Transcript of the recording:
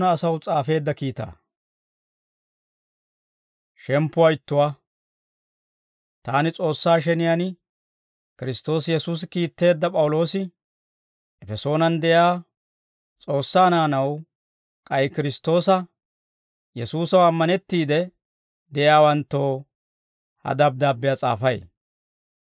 Taani S'oossaa sheniyaan Kiristtoosi Yesuusi kiitteedda P'awuloosi, Efesoonan de'iyaa S'oossaa naanaw k'ay Kiristtoosa Yesuusaw ammanettiide de'iyaawanttoo ha dabddaabbiyaa s'aafay.